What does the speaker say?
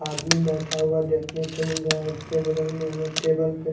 आदमी बैठा हुआ देखने को मिल रहा है उसके बगल में हमें टेबल पे--